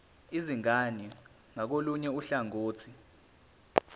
izingane ngakolunye uhlangothi